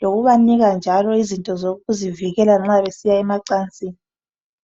lokubanika njalo izinto zokuzivikela nxa besiya emancansini.